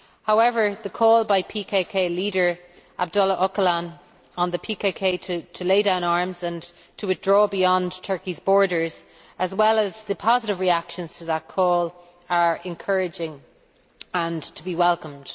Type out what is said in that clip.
However, the call by PKK leader Abdullah Öcalan to the PKK to lay down arms and withdraw beyond Turkey's borders, as well as the positive reactions to that call, are encouraging and to be welcomed.